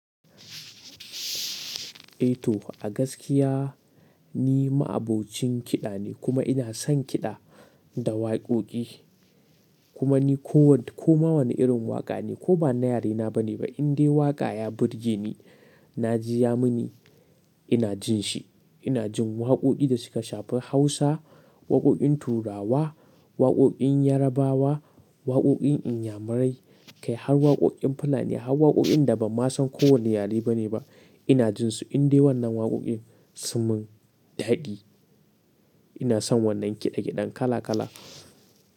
Eh to, gaskiya ni ma'abocin kiɗa ne kuma ina son kiɗa da waƙoƙi. Kuma ni ko wani, ko ma wani irin waƙa ne ko ba na yare na ba ne ba, in dai waƙa ya burge ni, na ji ya mun, ina jin shi. Ina jin waƙoƙin da suka shafi Hausa, waƙoƙin Turawa, waƙoƙin Yarabawa, waƙoƙin Inyamurai, kai har waƙoƙin Fulani har waƙoƙin da ba ma san ko wane yare ba ne ba, ina jin su. In dai wannan waƙoƙin sun min daɗi, ina son wannan kiɗa kiɗen kala kala.